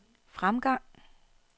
fremgang